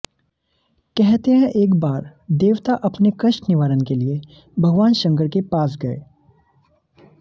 कहते हैं एक बार देवता अपने कष्ट निवारण के लिए भगवान शंकर के पास गए